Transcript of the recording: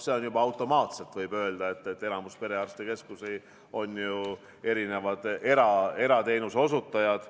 Juba automaatselt on, võib öelda, enamik perearstikeskusi ju erateenuse osutajad.